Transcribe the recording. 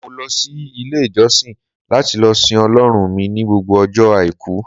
mo lo sí ilé ìjósìn lati lo sìn ọlọrun mi ni gbogbo ojo aiku